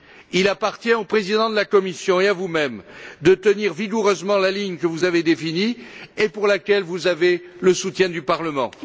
Il appartient au Président de la Commission et à vous même de tenir vigoureusement la ligne que vous avez définie et pour laquelle vous avez le soutien du Parlement.